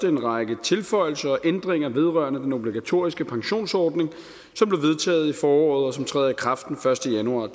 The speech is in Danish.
en række tilføjelser og ændringer vedrørende den obligatoriske pensionsordning som blev vedtaget i foråret og som træder i kraft den første januar